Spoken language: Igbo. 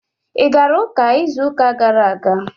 Ị gara ụka izu ụka gara aga?